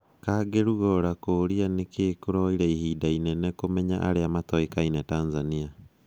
Kangi Lugora kũũria nĩkĩ kũroire ihinda inene kũmenya arĩa matoĩkaine Tanzania.